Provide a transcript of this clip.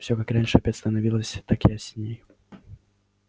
все как раньше опять становилось так ясней